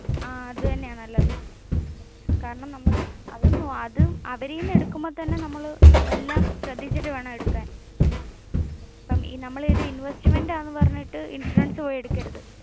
അത് തന്നെയാ നല്ലത്. അവരിൽ നിന്ന് തന്നെ എടുക്കുമ്പോ തന്നെ നമ്മൾ എല്ലാം ശ്രദ്ധിച്ചിട്ട് വേണം എടുക്കാൻ. നമ്മൾ ഒരു ഇൻവെസ്റ്റ്മെന്റ് ആണെന് പറഞ്ഞ ഇൻഷുറൻസ് പോയി